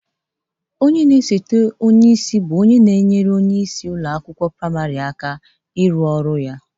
Osete onyeisi bụ onye na-etinyere onyeisi ụlọ akwụkwọ prịmarị aka ịrụ ọrụ ya.